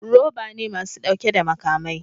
Roba ne masu dauke da makamai